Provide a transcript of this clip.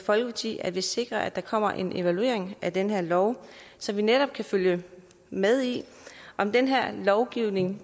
folkeparti at vi sikrer at der kommer en evaluering af den her lov så vi netop kan følge med i om den her lovgivning